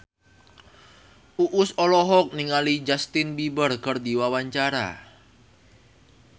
Uus olohok ningali Justin Beiber keur diwawancara